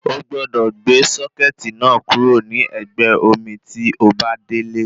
Ogbọ́dọ̀ gbé sọ́kẹ̀tì náà kúrò ní ẹ̀gbẹ́ omi tí obá délé